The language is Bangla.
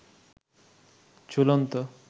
ঝুলন্ত